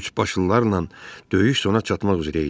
Üçbaşlılarla döyüş sona çatmaq üzrə idi.